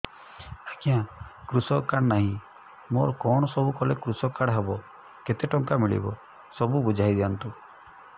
ଆଜ୍ଞା କୃଷକ କାର୍ଡ ନାହିଁ ମୋର କଣ ସବୁ କଲେ କୃଷକ କାର୍ଡ ହବ କେତେ ଟଙ୍କା ମିଳିବ ସବୁ ବୁଝାଇଦିଅନ୍ତୁ